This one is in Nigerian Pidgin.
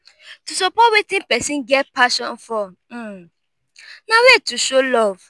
to support wetin persin get passion for um na way to show love